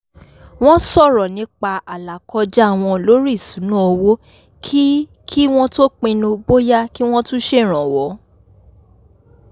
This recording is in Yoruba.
wọ́n sọ̀rọ̀ nípa àlàkọjá wọn lórí ìṣúnná owó kí kí wọ́n tó pinnu bóyá kí wọ́n tún ṣèrànwọ́